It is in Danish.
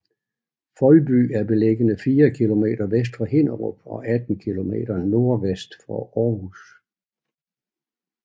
Foldby er beliggende fire kilometer vest for Hinnerup og 18 kilometer nordvest for Aarhus